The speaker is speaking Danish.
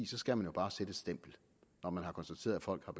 så skal man jo bare sætte et stempel når man har konstateret at folk har